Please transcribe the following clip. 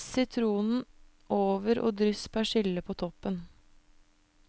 Press sitron over og dryss persille på toppen.